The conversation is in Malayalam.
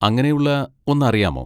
അങ്ങനെയുള്ള ഒന്ന് അറിയാമോ?